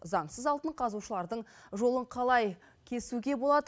заңсыз алтын қазушылардың жолын қалай кесуге болады